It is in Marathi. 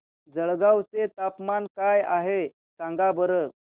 जळगाव चे तापमान काय आहे सांगा बरं